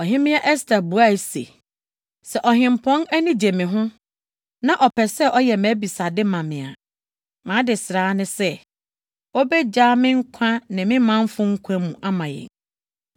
Ɔhemmea Ɛster buae se, “Sɛ Ɔhempɔn ani gye me ho, na ɔpɛ sɛ ɔyɛ mʼabisade ma me a, mʼadesrɛ ara ne sɛ, obegyaa me nkwa ne me manfo nkwa mu ama yɛn.